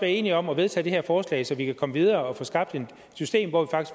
enige om at vedtage det her forslag så vi kan komme videre og få skabt et system